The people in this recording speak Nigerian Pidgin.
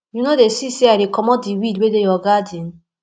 you no dey see say i dey comot de weed wey dey your garden